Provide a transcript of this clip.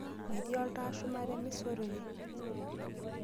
Metii oltau shumata emisa orere.